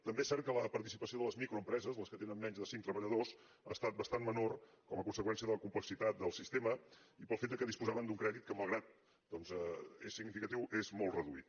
també és cert que la participació de les microempreses les que tenen menys de cinc treballadors ha estat bastant menor com a conseqüència de la complexitat del sistema i pel fet que disposaven d’un crèdit que malgrat doncs que és significatiu és molt reduït